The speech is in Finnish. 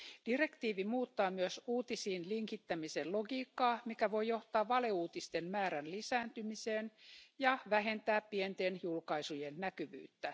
Direktiivi muuttaa myös uutisiin linkittämisen logiikkaa, mikä voi johtaa valeuutisten määrän lisääntymiseen ja vähentää pienten julkaisujen näkyvyyttä.